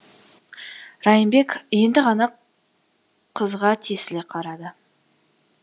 райымбек енді ғана қызға тесіле қарады